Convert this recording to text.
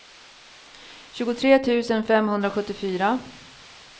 tjugotre tusen femhundrasjuttiofyra